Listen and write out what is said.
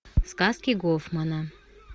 сказки гофмана